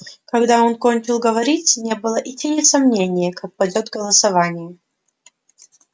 когда он кончил говорить не было и тени сомнения как пойдёт голосование